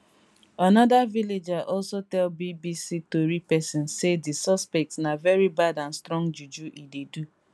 another villager also tell bbc tori pesin say di suspect na veri bad and strong juju e dey do